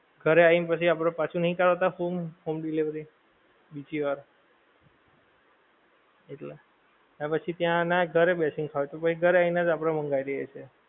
ઘરે આઈને પછી આપડે પાછું નહીં home home delivery, બીજી વાર, એટલે એ પછી ત્યાં ના ઘરે બેસી ને ખાવ તો કોઈ ઘરે આઈને જ આપડે મંગાઈ લઈએ છે